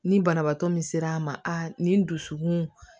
Ni banabaatɔ min sera a ma nin dusukun